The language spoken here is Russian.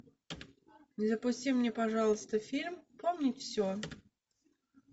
запусти мне пожалуйста фильм помнить все